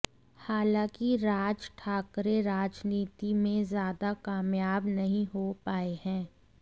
हालांकि राज ठाकरे राजनीति में ज्यादा कामयाब नहीं हो पाए हैं